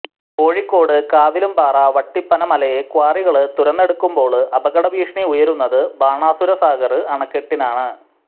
കോഴിക്കോട് കാവിലുംപാറ വട്ടിപ്പന മലയെ ക്വാറികള് തുരന്നെടുക്കുമ്പോള് അപകട ഭീഷണി ഉയരുന്നത് ബാണാസുര സാഗര് അണക്കെട്ടിനാണ്